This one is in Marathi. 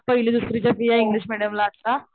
पहिली दुसरीच्या फीये इंग्लिश मेडीयम ला आता,